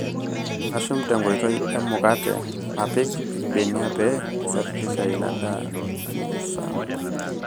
Ashum tenkoitoi emukata, apik ilbenia pee isafirisha ina daa nisampu.